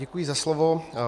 Děkuji za slovo.